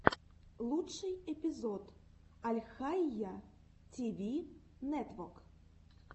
лучший эпизод альхайя ти ви нетвок